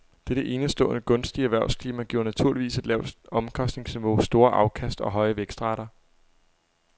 Dette enestående gunstige erhvervsklima giver naturligvis et lavt omkostningsniveau, store afkast og høje vækstrater.